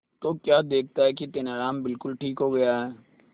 तो क्या देखता है कि तेनालीराम बिल्कुल ठीक हो गया है